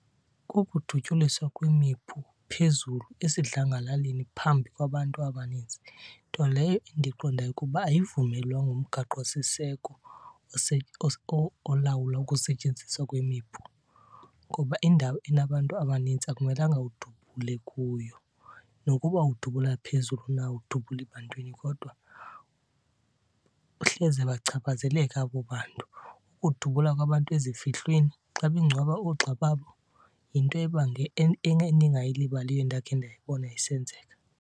Ukudutyuliswa kwemipu phezulu esidlangalaleni phambi kwabantu abaninzi, nto leyo endiqondayo ukuba ayivumelwa ngumgaqosiseko olawula ukusetyenziswa kwemipu. Ngoba indawo enabantu abanintsi akumelanga udubule kuyo nokuba udubula phezulu na awudubuli bantwini, kodwa hleze bachaphazeleka abo bantu. Ukudubula kwabantu ezifihlweni xa bengcwaba oogxa babo yinto endingayilibaliyo endakhe ndayibona isenzeka.